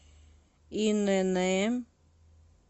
инн